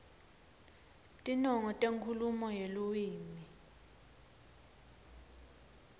tinongo tenkhulumo yeluwimi